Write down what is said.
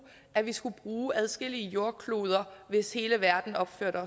at vi ville skulle bruge adskillige jordkloder hvis hele verden opførte